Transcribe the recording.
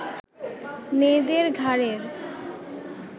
মেয়েদের ঘাড়ের